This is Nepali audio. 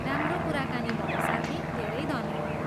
राम्रो कुराकानी भयो साथी! धेरै धन्यवाद!